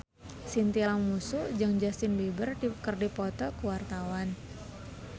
Chintya Lamusu jeung Justin Beiber keur dipoto ku wartawan